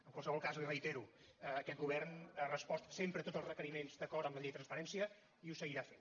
en qualsevol cas l’hi reitero aquest govern ha respost sempre tots els requeriments d’acord amb la llei de transparència i ho seguirà fent